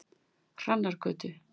Hrannargötu